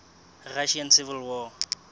russian civil war